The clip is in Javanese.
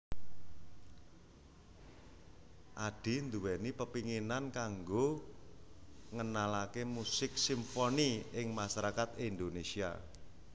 Addie nduweni kepinginan kanggo ngenalaké musik simfoni ing masarakat Indonésia